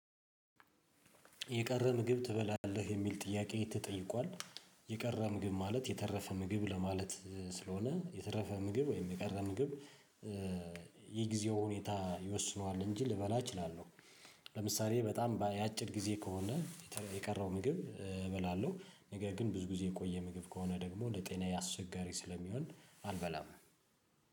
የቀረ ምግብ ትበላለህ የሚል ጥያቄ ተጠይቋል? የቀረ ምግብ ማለት የተረፈ ምግብ ለማለት ስለሆነ የተረፈ ምግብ ወይም የቀረ ምግብ የጊዜው ሁኔታ ይወስነዋል እንጂ ልበላ እችላለሁ። ለምሳሌ በጣም ያጭር ጊዜ ከሆነ የቀረው ምግብ እበላለሁ። ነገር ግን ብዙ ጊዜ የቆየ ምግብ ከሆነ ደግሞ ለጤና ያስቸጋሪ ስለሚሆን አልበላም።